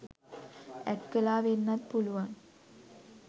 ඇට් කළා වෙන්නත් පුළුවන්